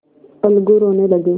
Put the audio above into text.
अलगू रोने लगे